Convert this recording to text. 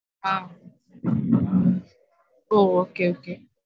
ஆஹ் ஒ okay okay